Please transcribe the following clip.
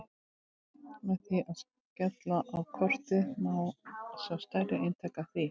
Með því að smella á kortið má sjá stærri eintak af því.